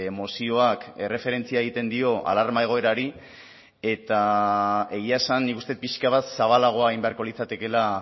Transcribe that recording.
mozioak erreferentzia egiten dio alarma egoerari eta egia esan nik uste dut pixka bat zabalagoa egin beharko litzatekeela